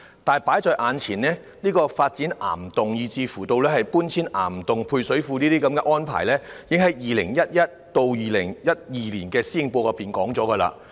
但放在眼前的問題是，發展岩洞，以至配水庫搬遷往岩洞等計劃在 2011-2012 年度施政報告中已經提到。